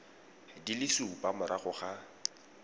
di le supa morago ga